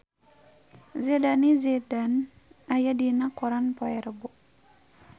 Zidane Zidane aya dina koran poe Rebo